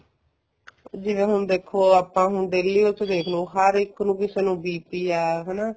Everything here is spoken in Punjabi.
ਜਿਵੇਂ ਹੁਣ daily ਆਪਾਂ ਦੇਖਲੋ ਹਰ ਇੱਕ ਨੂੰ ਕਿਸੇ ਨੂੰ BP ਹੈ ਹਨਾ